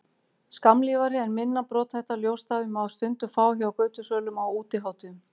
skammlífari en minna brothætta ljósstafi má stundum fá hjá götusölum á útihátíðum